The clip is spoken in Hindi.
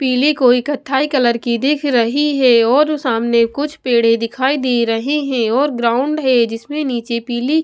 पीली कोई कथाई कलर की दिख रही है और सामने कुछ पेड़े दिखाई दे रहे हैं और ग्राउंड है जिसमें नीचे पीली--